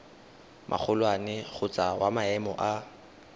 magolwane kgotsa wa maemo a